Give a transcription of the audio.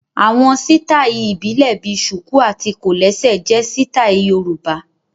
Àwọn sítáì ìbílẹ̀ bíi ṣùkù àti kòlẹ́sẹ̀ jẹ sítáì Yorùbá